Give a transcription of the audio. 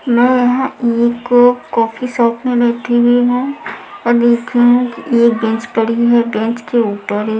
मैं यहाँ eco coffee shop में बैठी हुई हूँ और लेकिन ये गैस पड़ी है बेंच के ऊपर एक--